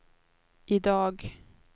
idag